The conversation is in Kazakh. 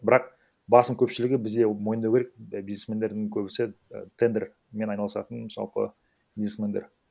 бірақ басым көпшілігі бізде мойындау керек бизнесмендердің көбісі тендермен айналысатын жалпы бизнесмендер